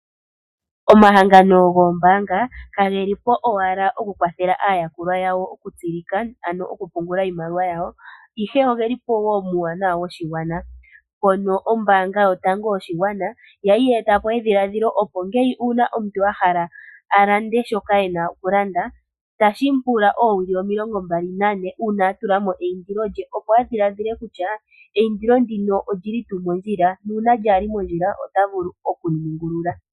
Omahangano goombaanga kage li po owala okukwathela aayakulwa yago okutsilika, ano okupungula iimaliwa yawo, ihe oge li po muuwanawa woshigwana. Oombaanga Yotango Yoshigwana oya li ye eta po edhiladhilo, opo ngele omuntu a hala a lande shoka e na okulanda tashi mu pula oowili omilongombali nane uuna a tula mo eindilo lye, opo a dhiladhile kutya eindilo ndino oli li tuu mondjila, nuuna lyaa li mondjila ota vulu oku li ningulula.